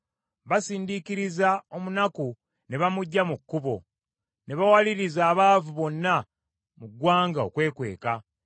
Basindiikiriza omunaku ne bamuggya mu kkubo, ne bawaliriza abaavu bonna mu ggwanga okwekweka.